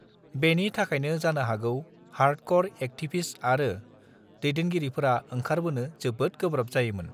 बेनि थाखायनो जानो हागौ हार्दकर एक्टिबिस्ट आरो दैदेनगिरिफोरा ओंखारबोनो जोबोद गोब्राब जायोमोन